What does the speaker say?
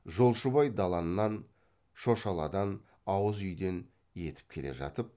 жолшыбай даланнан шошаладан ауыз үйден етіп келе жатып